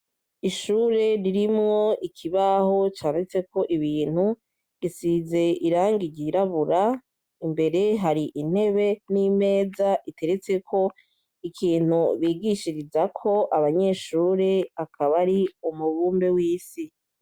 ishure rirmwo ikibaho canditseko ibintu gisize irangi ry'irabura imbere hari intebe nimeza iteretseko ikintu bigishirizako abanyeshure akaba ari umubumbe w'isi.